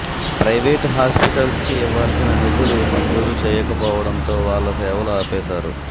private hospitals కి ఇవ్వాల్సిన నిధులు మంజూరు చేయకపోవటంతో వాళ్ళు సేవలు ఆపేసారు